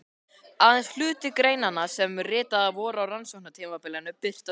Aðeins hluti greinanna sem ritaðar voru á rannsóknartímabilinu birtast hér.